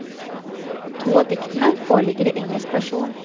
To av diktene foreligger i engelsk versjon.